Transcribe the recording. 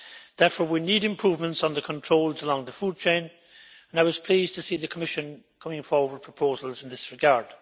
Therefore we need improvements in the controls along the food chain, and I was pleased to see the Commission coming forward with proposals in this regard.